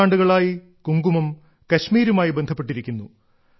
നൂറ്റാണ്ടുകളായി കുങ്കുമം കശ്മീരുമായി ബന്ധപ്പെട്ടിരിക്കുന്നു